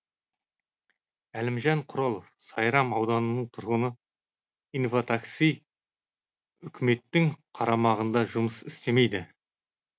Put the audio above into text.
әлімжан құралов сайрам ауданының тұрғыны инватакси үкіметтің қарамағында жұмыс істемейді